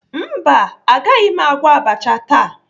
Mba, agaghị m agwọ abacha taa.